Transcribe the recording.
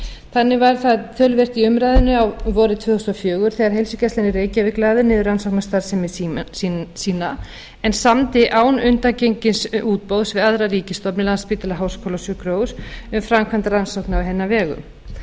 þannig var það töluvert í umræðunni vorið tvö þúsund og fjögur þegar heilsugæslan í reykjavík lagði niður rannsóknastarfsemi sína en samdi án undangengins útboðs við aðra ríkisstofnun landspítala háskólasjúkrahús um framkvæmd rannsókna á hennar